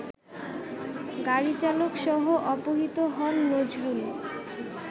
গাড়িচালকসহ অপহৃত হন নজরুল